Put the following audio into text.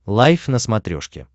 лайф на смотрешке